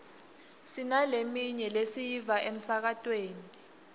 sinaleminye lesiyiva emsakatweni